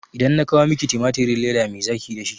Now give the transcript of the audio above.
Idan na kawo miki timatirin leda me zaki yi dashi?